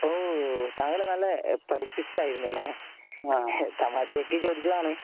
ഹോ താങ്കൾ നല്ല പഠിപ്പിസ്റ്റ് ആയിരുന്നു അല്ലേ. തമാശക്ക് ചോതിച്ചെത്താണ്